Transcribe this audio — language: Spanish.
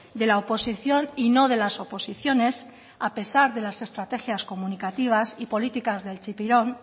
de la oposición y no de las oposiciones a pesar de las estrategias comunicativas y políticas del chipirón